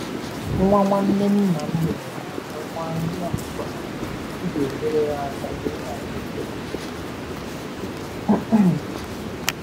Nwa nwanne nna m nyeere m aka gbaa nri ọkụkọ n'akpa, m ga-enyere ya aka wee ahụekere